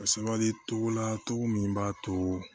A sabali togo la cogo min b'a to